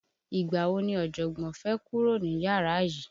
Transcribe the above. Ìgbà wò ni ojogbon fẹ́ kúrò ní yàrá yìí?